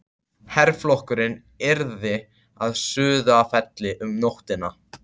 Herflokkurinn yrði að Sauðafelli um nóttina.